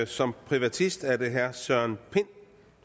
som privatist er det herre søren pind